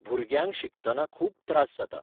भुरग्यांक शिकतना खूब त्रास जाता.